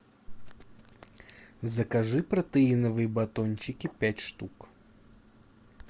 закажи протеиновые батончики пять штук